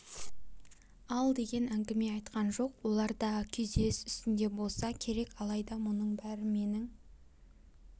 ал деген әңгіме айтқан жоқ олар да күйзеліс үстінде болса керек алайда мұның бәрі менің